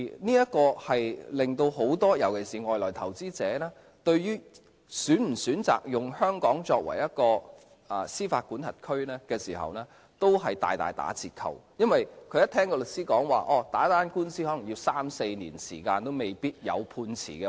這令很多人，尤其是外來投資者，對於是否選擇以香港作為司法管轄區時，都大打折扣，因為他們聽到律師說打一宗官司可能須時三四年也未必有判詞。